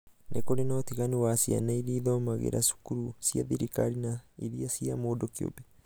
nĩ kũri na ũtiganu wa ciana iria ithomagĩra cukuru cia thirikari na iria cia mũndũ kĩũmbe.